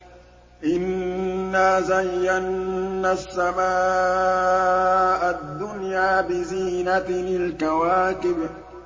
إِنَّا زَيَّنَّا السَّمَاءَ الدُّنْيَا بِزِينَةٍ الْكَوَاكِبِ